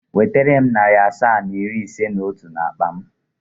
Wetere m narị asaa na iri ise na otu n'akpa m!.